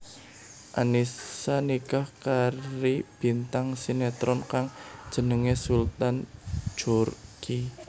Annisa nikah kari bintang sinetron kang jenengé Sultan Djorghi